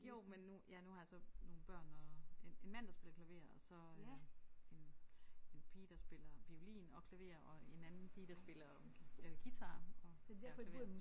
Jo men nu ja nu har jeg så nogle børn og en en mand der spiller klaver og så øh en en pige der spiller violin og klaver og en anden pige der spiller øh guitar og ja klaver